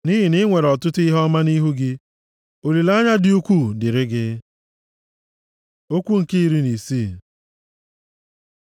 nʼihi na i nwere ọtụtụ ihe ọma nʼihu gị. Olileanya dị ukwuu dịrị gị. Okwu nke iri na isii